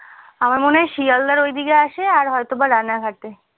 আমার মনে হয় শিয়ালদার ওই দিকে আসে আর হয়তো বা রানাঘাটে